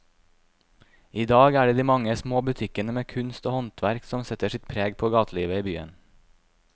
I dag er det de mange små butikkene med kunst og håndverk som setter sitt preg på gatelivet i byen.